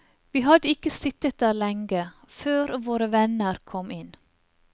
Vi hadde ikke sittet der lenge, før våre venner kom inn.